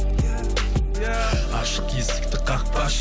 ашық есікті қақпашы